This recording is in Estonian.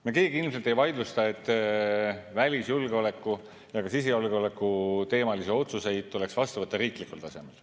Me keegi ilmselt ei vaidlusta, et välisjulgeoleku ja sisejulgeoleku teemal otsuseid tuleks vastu võtta riiklikul tasemel.